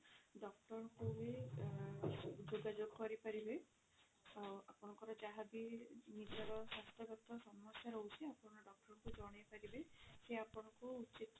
doctor ଙ୍କୁ ଭି ଆ ଯୋଗା ଯୋଗ କରି ପାରିବେ ଆଉ ଆପଣଙ୍କର ଯାହାବି ନିଜର ସ୍ୱାସ୍ଥ୍ୟ ଗତ ସମସ୍ୟା ରହୁଛି ଆପଣ doctor କୁ ଜଣାଇ ପାରିବେ ସିଏ ଆପଣଙ୍କୁ ଉଚିତ